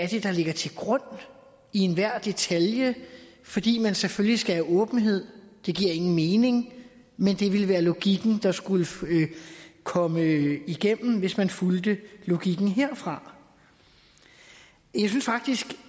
det er der ligger til grund i enhver detalje fordi man selvfølgelig skal have åbenhed det giver ingen mening men det ville være logikken der skulle komme igennem hvis man fulgte logikken herfra jeg synes faktisk